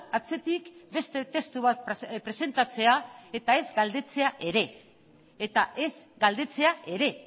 atzetik beste testu bat presentatzea eta ez galdetzea ere